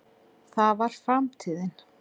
það var framtíðin.